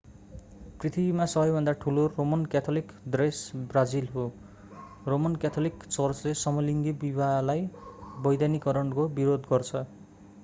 पृथ्वीमा सबैभन्दा ठूलो रोमन क्याथोलिक देश ब्राजिल हो रोमन क्याथोलिक चर्चले समलिङ्गी विवाहलाई वैधानिकरणको विरोध गर्छ